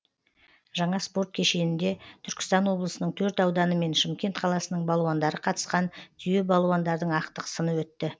жаңа спорт кешенінде түркістан облысының төрт ауданы мен шымкент қаласының балуандары қатысқан түйе балуандардың ақтық сыны өтті